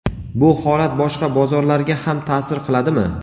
Bu holat boshqa bozorlarga ham ta’sir qiladimi?.